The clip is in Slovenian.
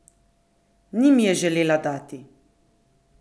Ni mi je želela dati!